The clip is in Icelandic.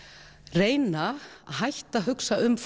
reyna að hætta að hugsa um